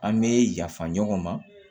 An bɛ yafa ɲɔgɔn ma